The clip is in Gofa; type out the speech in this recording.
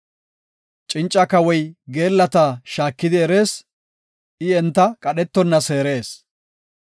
Cinca kawoy geellata shaakidi erees; I enta qadhetonna seerees.